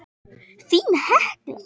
Þín Hekla.